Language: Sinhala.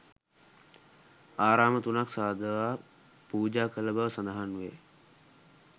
ආරාම තුනක් සාදවා පූජා කළ බව සඳහන් වේ.